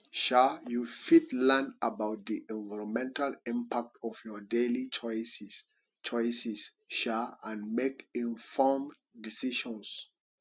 um you fit learn about di environmental impact of your daily choices choices um and make informed decisions